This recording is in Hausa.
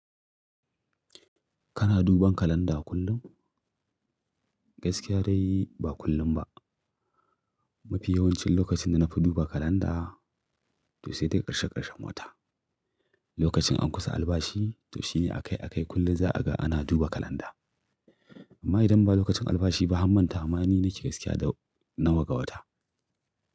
Kana duban kalanda kullum? Gaskiya dai ba kullum ba. Mafi yawancin lokacin da na fi duba kalanda to sai dai ƙarshe ƙarshen wata. Lokacin an kusa albashi to shine a kai a kai kullum za a ga ana duba kalanda. Amma idan ba lokacin albashi ba, ham mantawa ma ni nake gaskiya da nawa ga wata.